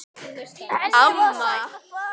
Henni var sagt að fara.